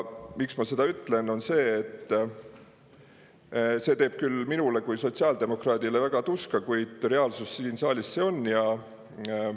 Miks ma seda ütlen, on see, et see teeb küll minule kui sotsiaaldemokraadile väga tuska, kuid see on siin saalis reaalsus.